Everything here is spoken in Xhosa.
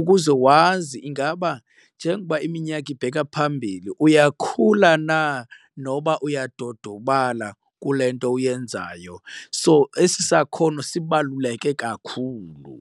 ukuze wazi ingaba njengoba iminyaka ibheka phambili uyakhula na noba uyadodobala kule nto uyenzayo. So esi sakhono sibaluleke kakhulu.